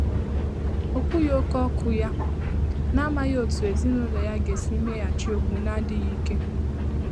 Ọ́ kwùghị̀ óké 0̣kụ́ yá, n’àmàghị́ ótú èzínụ́lọ yá gà-èsí méghàchí ókwú nà ádị́ghị́ íké.